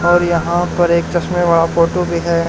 और यहां पर एक चश्मे वाला फोटो भी है।